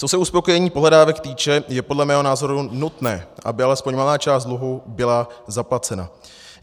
Co se uspokojení pohledávek týče, je podle mého názoru nutné, aby alespoň malá část dluhu byla zaplacena.